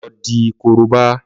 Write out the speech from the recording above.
Lọ di korobá!